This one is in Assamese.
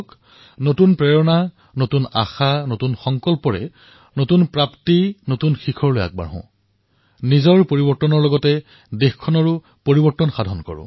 আহক নতুন প্ৰেৰণা নতুন উদ্দীপনা নতুন সংকল্প নতুন সিদ্ধি নতুন উচ্চতাৰে আগুৱাই যাওঁ নিজকো পৰিৱৰ্তন কৰোঁ দেশকো পৰিৱৰ্তন কৰোঁ